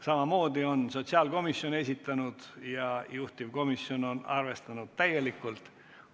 Sellegi on esitanud sotsiaalkomisjon ja juhtivkomisjon on seda täielikult arvestanud.